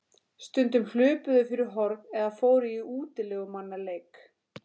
Stundum hlupu þau fyrir horn eða fóru í útilegumannaleik.